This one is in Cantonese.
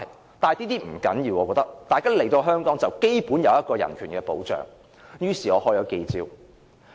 我覺得這不重要，大家來到香港便應受到基本人權保障，於是我召開記者招待會。